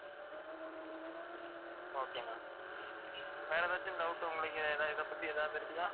okay ma'am வேற ஏதாச்சும் doubt உங்களுக்கு இதைப்பத்தி ஏதாவது இருக்குதா